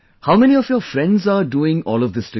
How many of your friends are doing all of this together